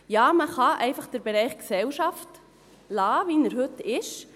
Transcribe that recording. Ja, man kann einfach den Bereich Gesellschaft lassen, wie er heute ist.